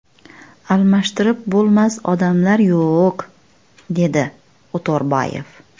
Almashtirib bo‘lmas odamlar yo‘q”, - dedi O‘to‘rbayev.